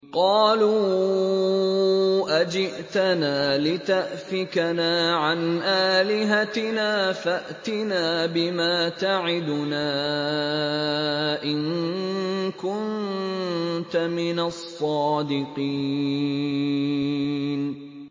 قَالُوا أَجِئْتَنَا لِتَأْفِكَنَا عَنْ آلِهَتِنَا فَأْتِنَا بِمَا تَعِدُنَا إِن كُنتَ مِنَ الصَّادِقِينَ